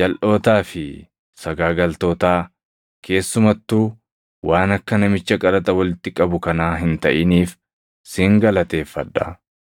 jalʼootaa fi sagaagaltootaa keessumattuu waan akka namicha qaraxa walitti qabu kanaa hin taʼiniif sin galateeffadha.